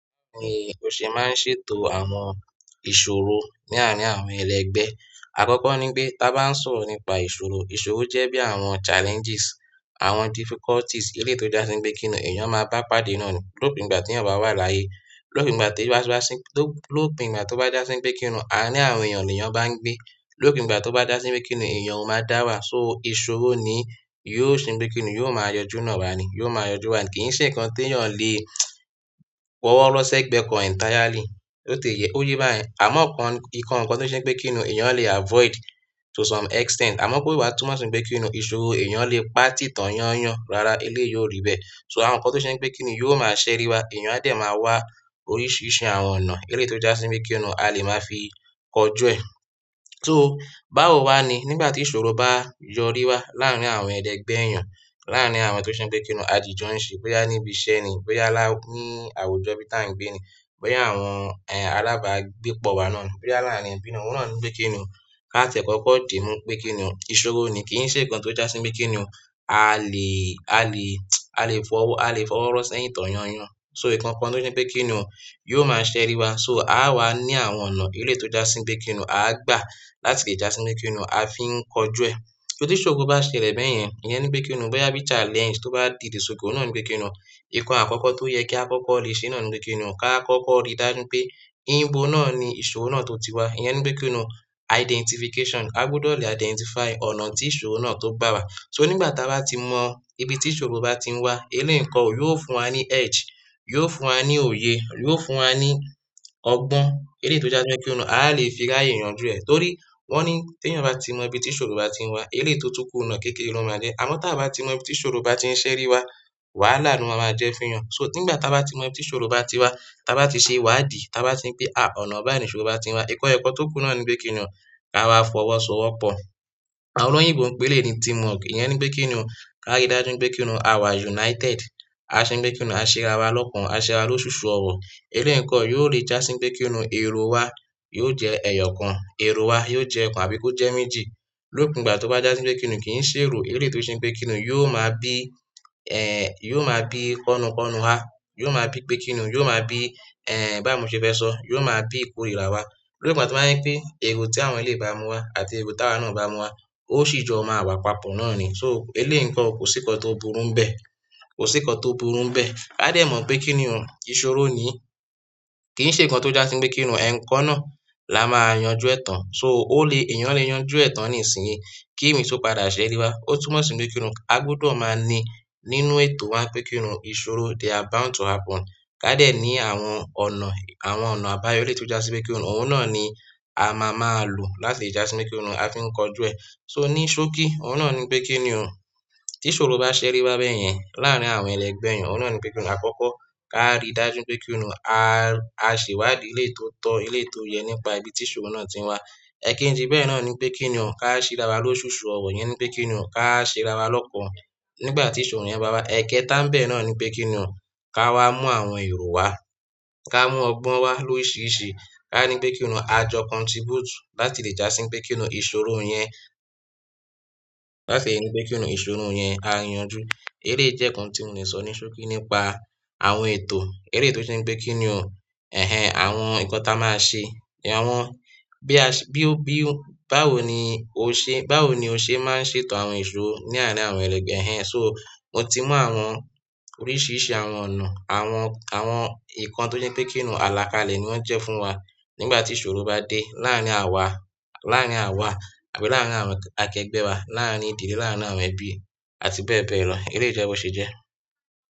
Ni o ṣe máa ń ṣètò àwọn ìṣòro ní àárín àwọn ẹlẹgbẹ́? Àkọ́kọ́ ní pé, tá bá ń sọ̀rọ̀ nípa ìṣòro, ìṣòro jẹ́ bí àwọn challenges, àwọn difficulties eléyìí tó jásí pé kí ni èèyàn máa bá pàdé náà ni. Lópin ìgbà tí èèyàn bá wà láàyè, lópin ìgbà tí wá, lópin ìgbà tó bá jásí pé kíni àárín àwọn èèyàn ni èèyàn bá ń gbé, lópin ìgbà tó bá já sí pé kíni èèyàn ó máa dára, so ìṣòro ni yóò ṣe pé kíni yóò máa yanjú náà ra ni, yóò máa yanjú wa. Kì í ṣe nǹkan tí èèyàn lè fọwọ́ rọ sẹ́gbẹ̀ẹ́ kan entirely. Ó tẹ̀ẹ́ yẹ, ó yé bá yẹn. Àmọ́ kàn nǹkan tó jẹ́ pé kí ni èèyàn lè avoid to some extent. Amọ kò wá túmọ̀ si pé kíni ìṣòro èèyàn lè pati tọn yanyan rárá eleyi o ri bẹ́ẹ̀, so àwọn nkán to ṣe i pé kíní yóò máa ṣẹri wá àwọn èèyàn n o dẹ̀ máa wá oríṣiríṣi àwọn ọnà eleyi to já sí pé kíni a lè máa fi kọ jú ẹ. So báwo wá ni nígbà tí ìṣòro bá yọrí wá láàárín àwọn ẹlẹgbẹ́ èèyàn, láàárín àwọn tó jẹ́ pé kí ni àdìjọ ń ṣe, bóyá níbi iṣẹ́ ni, bóyá lá ní àwùjọ bí tá ń gbé ni, bóyá àwọn, ẹ, alábàágbé pọ̀ wá náà ni, bóyá láàárín ẹbí náà, òun náà ní pé kí ni. Ká tiẹ̀ kọ́kọ́ dimú pé kí ni, ìṣòro ni kì í ṣe nǹkan tó jásí pé kí ni a lè, a lè, a lè fọwọ́, a lè fọwọ́ rọ sẹ́yìn tan yányan. So nǹkan kan tó ṣe pé kí ni yóò máa ṣẹri wa. So a á wá ní àwọn ọ̀nà eléyìí tó jásí pé kí ni a gbà láti lè jásí pé kí ni a fi ń kọjú ẹ. Torí tí ìṣòro bá ṣẹlẹ̀ bẹ́yẹn, ìyẹn ni pé kí ni bóyá bí challenge tó bá dìde, so o náà ní pé kí ni. Nkán akọkọ to yẹ ki a kọkọ le ṣe náà ni pé kí ní, ka kọkọ ri dájú n pé ibo náà ní ìṣòro náà to ti wà iyẹn ni pé kíni identification, a gbudọ lè identify ọnà ti ìṣòro náà to gbà wá so nígbà táa bá ti mọ ibi tí ìṣòro bá ti ń wá, eléyìí nǹkan ò, yóò fún wa ní edge, yóò fún wa ní òye, yóò fún wa ní ọgbọ́n eléyìí tó jásí pé kí ni a lè fi ráyè yanjú ẹ. Torí wọ́n ní tí èèyàn bá ti mọ ibi tí ìṣòro bá ti ń wá, eléyìí tó tún kù náà kékeré ló máa jẹ́. Àmọ́ tí à bá ti mọ ibi tí ìṣòro bá ti ń ṣeré wa, wàhálà ni o má máa jẹ́ fún èèyàn. So nígbà táa bá ti mọ ibi tí ìṣòro bá ti wá, táa bá ti ṣe ìwádìí, táa bá tiri pé, à, ọ̀nà báyìí ìṣòro bá ti ń wá, ìkan ẹyọkan tó kù náà ni pé kí ni ká wá fọwọ́ sọ wọ́pọ̀. Àwọn olóyìn gbo pé eléyìí ni team work. Ìyẹn ni pé kí ni ká rí dájú pé kí ni a wà united, a ṣe pé kí ni a ṣéra wa lọ́kan, a ṣéra wa lóṣuṣu ọ̀wọ̀. Eléyìí nǹkan yóò lí jásí pé kí ni èrò wa yóò jẹ́ ẹ̀yọ̀ kan, èrò wa yóò jẹ́ kan àbí kó jẹ́ méjì. Lópin ìgbà tó bá jásí pé kí ni kì í ṣe èrò eléyìí tó jẹ́ pé kí ni yóò máa bí, ẹ, yóò máa bí kọnukọnu wa, yóò máa bí pé kí ni, yóò máa bí, ẹ, bá mi ṣe fẹ́ sọ, yóò máa bí ìkórìíra wa. Lópin ìgbà tó bá jẹ́ pé èrò tí àwọn eléyìí bá mú wá àti èrò táwà náà bá mú wá, ó sì jọ máa wà papọ̀ náà ni. So eléyìí nǹkan kò sí nǹkan tó burú bẹ́ẹ̀, kò sí nǹkan tó burú bẹ́ẹ̀. A dẹ̀ mọ̀ pé kí ni ìṣòro ni kì í ṣe nǹkan tó jásí pé kí ni ẹ̀ńkan náà la máa yanjú ẹ̀ tàn. So ó lè, èèyàn lè yanjú ẹ̀ tàn ní ìsinyìí. Kí imi tó padà ṣẹri wa, ó túmọ̀ sí pé kí ni a gbọdọ̀ máa ní nínú ètò wa pé kí ni ìṣòro they are bound to happen. Ká dẹ̀ ní àwọn ọ̀nà, àwọn ọ̀nà àbáyọ eléyìí tó jásí pé kí ni òun náà ni a máa máa lò láti jásí pé kí ni a fi ń kọjú ẹ. So ní ṣókí òun náà ni pé kí ni tí ìṣòro bá ṣẹri wá bẹ́yẹn láàárín àwọn ẹlẹgbẹ́ èèyàn, òun náà ni pé kí ni àkọ́kọ́ ká rí dájú pé kí ni a ṣe ìwádìí eléyìí tó tọ́, eléyìí tó yẹ nípa ibi tí ìṣòro náà ti ń wá. Ẹ̀kejì bẹ́ẹ̀ náà ni pé kí ni ká ṣé ra wa lóṣuṣu ọ̀wọ̀ yẹn ni pé kí ni ká ṣéra wa lọ́pọ̀lọpọ̀ nígbà tí ìṣòro yẹn bá wá. Ẹ̀kẹta bẹ́ẹ̀ náà ni pé kí ni ká wá mú àwọn èrò wá, ká mú ọgbọ́n wá lóriiṣiṣi, ká ní pé kí ni a jọ contribute láti lè jásí pé kí ni ìṣòro yẹn, láti ri pé kí ni ìṣòro yẹn ári yanjú. Eléyìí jẹ́ nǹkan tí mo ní sọ ní ṣókí nípa àwọn ètò eléyìí tó jẹ́ pé kí ni, ẹh ẹn, àwọn nǹkan táa máa ṣe, àwọn bí a ṣe, bí ó bí, báwo ni o ṣe, báwo ni o ṣe máa ń ṣètò àwọn ìṣòro ní àárín àwọn ẹlẹgbẹ́, ẹh ẹn. So mo ti mú àwọn oríṣiríṣi àwọn ọ̀nà, àwọn, àwọn nǹkan tó jẹ́ pé kí ni àlàkalẹ̀ ni wọ́n jẹ́ fún wa nígbà tí ìṣòro bá dé láàárín àwa, láàárín àwa àbí láàárín àwọn akẹgbẹ́ wa, láàárín ìdílé, láàárín àwọn ẹbí àti bẹ́ẹ̀ bẹ́ẹ̀ lọ. Eléyìí jẹ́ bó ṣe jẹ́.